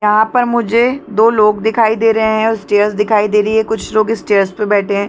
यहाँ पर मुझे दो लोग दिखाई दे रहे है और स्टेयर्स दिखाई दे रही है कुछ लोग स्टेयर्स पे बैठे हैं ।